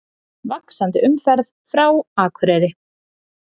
Vaxandi umferð frá Akureyri